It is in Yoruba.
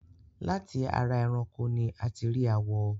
láti ara eran ẹranko ni a ti rí àwọ̀